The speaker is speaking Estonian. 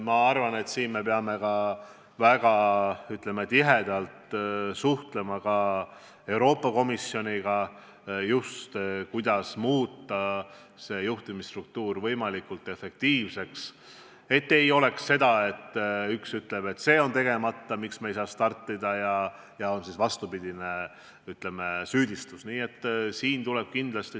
Ma arvan, et peame siin väga tihedalt suhtlema ka Euroopa Komisjoniga, just seoses sellega, kuidas muuta juhtimisstruktuur võimalikult efektiivseks, nii et ei oleks seda, et üks ütleb, et see on tegemata ja seepärast ei saa me startida, ning teine väidab vastupidist.